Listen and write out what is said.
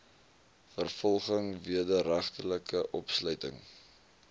vervolging wederregtelike opsluiting